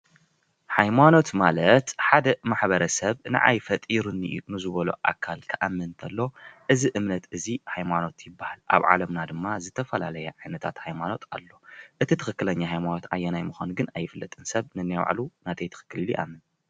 ሃይማኖት ማለት ሓደ ማሕበረሰብ ንዓይ ፈጢሩኒ እዪ ንዝበሎ ኣካል ክኣምን ተሎ እዚ እምነት እዚ ሃይማኖት ይበሃል። ኣብ ዓለምና ድማ ዝተፈላለዩ ዓይነታት ሃይማኖት አለዉ:: እቲ ትክክለኛ ሃይማኖት አየናይ ምኻኑ ግን ኣይፍለጥን። ሰብ ነናይ ባዕሉ ናተይ ትክክል ኢሉ ይኣምን ።